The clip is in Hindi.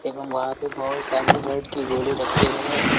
एवं वहां पर बहोत सारी रैट की गोली रक्खे गए है।